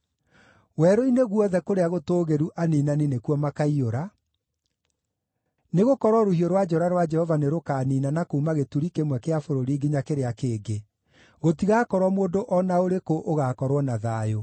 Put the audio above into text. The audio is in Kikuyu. Werũ-inĩ guothe kũrĩa gũtũũgĩru aniinani nĩkuo makaiyũra, nĩgũkorwo rũhiũ rwa njora rwa Jehova nĩrũkaniinana kuuma gĩturi kĩmwe kĩa bũrũri nginya kĩrĩa kĩngĩ; gũtigakorwo mũndũ o na ũrĩkũ ũgaakorwo na thayũ.